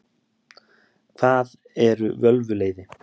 Hvað eru völvuleiði?